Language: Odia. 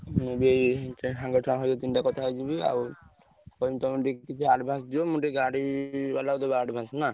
ମୁଁ ବି ଏଇ ସାଙ୍ଗ ଛୁଆ ଦି ତିନ ଜଣଙ୍କ ସହିତ କଥା ହେଇଯିବି ଆଉ କହିବି ତମେ advance ଦିଅ ମୁଁ ଟିକେ ଗାଡିବାଲା କୁ ଦେବି advance ନା?